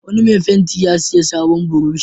Wani mai fenti ya sayi sabon burushi.